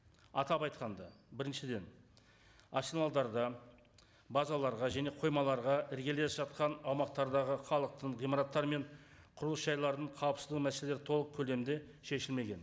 атап айтқанда біріншіден арсеналдарды базаларға және қоймаларға іргелес жатқан аумақтардағы халықтың ғимараттар мен құрылыс жайларын қауіпсіздігі мәселелері толық көлемде шешілмеген